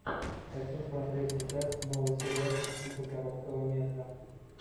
хочу смотреть сейчас новый сериальчик типа короткого метра